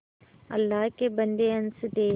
अल्लाह के बन्दे हंस दे